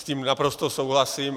S tím naprosto souhlasím.